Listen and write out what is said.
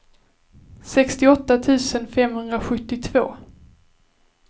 sextioåtta tusen femhundrasjuttiotvå